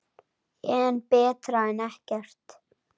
En betra en ekkert.